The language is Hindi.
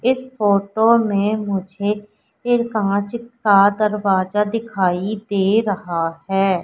इस फोटो में मुझे एक कांच का दरवाजा दिखाई दे रहा है।